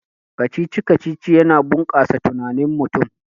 Kacici-kacici yana bunkasa tunanin mutum